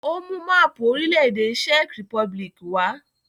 Ó mú máápù orílẹ̀ -èdè Czech Republic wá?